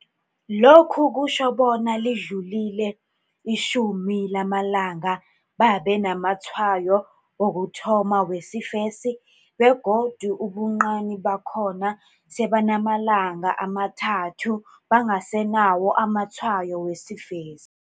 Lokhu kutjho bona lidlulile itjhumi lamalanga babe namatshwayo wokuthoma wesifesi begodu ubuncani bakhona sebanamalanga amathathu bangasenawo amatshwayo wesifesi.